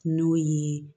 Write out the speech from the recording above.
N'o ye